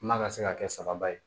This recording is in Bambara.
Kuma ka se ka kɛ sababa ye